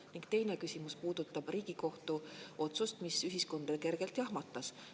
Ning teine küsimus puudutab Riigikohtu otsust, mis ühiskonda kergelt jahmatas.